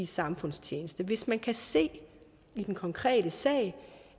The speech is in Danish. samfundstjeneste hvis man kan se i den konkrete sag